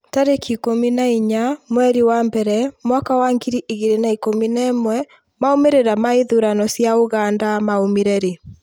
tarĩki ikũmi na inya mweri wa mbere mwaka wa ngiri igĩrĩ na ikũmi na ĩmwemaumĩrĩra ma ithurano cia Uganda maumire rĩ?